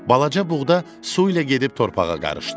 Balaca buğda su ilə gedib torpağa qarışdı.